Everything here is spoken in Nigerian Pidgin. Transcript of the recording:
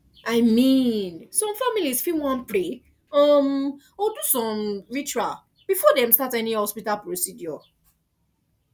i mean some families fit wan pray umm or do some ritual before dem start any hospital procedure